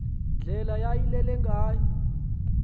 ndlela yayilele ngayo